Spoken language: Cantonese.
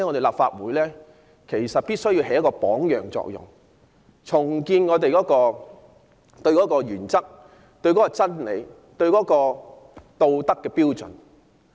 立法會必須發揮榜樣作用，重建恪守原則和真理的道德標準。